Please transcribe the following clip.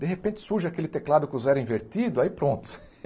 De repente, surge aquele teclado com o zero invertido, aí pronto.